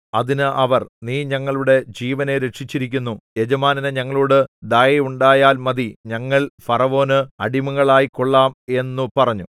അതിന് അവർ നീ ഞങ്ങളുടെ ജീവനെ രക്ഷിച്ചിരിക്കുന്നു യജമാനന് ഞങ്ങളോടു ദയയുണ്ടായാൽ മതി ഞങ്ങൾ ഫറവോന് അടിമകളായിക്കൊള്ളാം എന്നു പറഞ്ഞു